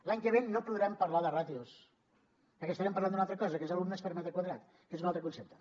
l’any que ve no podrem parlar de ràtios perquè estarem parlant d’una altra cosa que és d’alumnes per metre quadrat que és un altre concepte